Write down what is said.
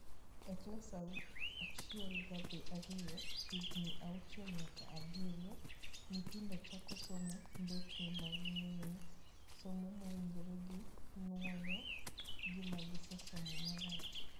E klas achiel gi ario (higni auchiel nyaka abirio) nyithindo chako somo mbekni maging'eyo, somo mawinjore gi nuoyo gima gisomo marach.